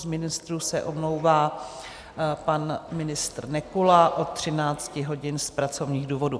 Z ministrů se omlouvá pan ministr Nekula od 13 hodin z pracovních důvodů.